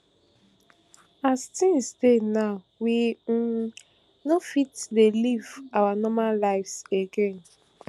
as tins dey now we um no fit to dey live our normal lives again